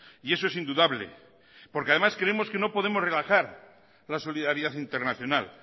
y eso es indudable porque además creemos que no podemos relajar la solidaridad internacional